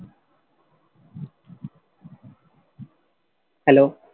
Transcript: Hello